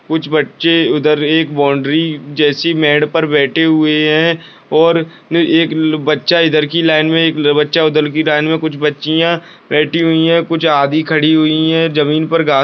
कुछ बच्चे उधर एक बाउंड्री जैसी मेड पर बैठी हुए हैं और नहीं एक बच्चा इधर की लाइन में एक बच्चा उधर की लाइन में कुछ बच्चियाँ बैठी हुई हैं कुछ आधी खड़ी हुई है जमीन पर घा --